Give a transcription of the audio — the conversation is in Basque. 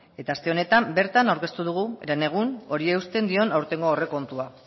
eta aste honetan bertan aurkeztu dugu herenegun horri eusten dion aurtengo aurrekontua